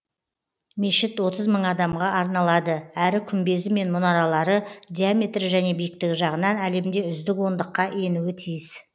мешіт отыз мың адамға арналады әрі күмбезі мен мұнаралары диаметрі және биіктігі жағынан әлемде үздік ондыққа енуі тиіс